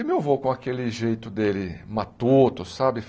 E meu vô com aquele jeito dele matuto, sabe?